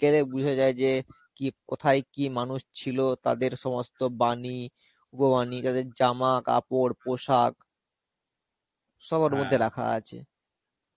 গেলে বোঝা যায় যে কি কোথায় কি মানুষ ছিলো তাদের সমস্ত বাণী উপবানী তাদের জামা কাপড় পোশাক সব ওর মধ্যে রাখা আছে.